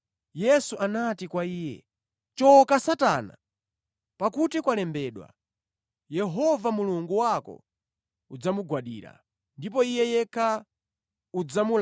Yesu anati kwa iye, “Choka Satana! Zalembedwa, ‘Pembedza Yehova Mulungu wako ndi kumutumikira Iye yekha.’ ”